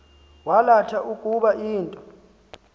yalatha ukuba into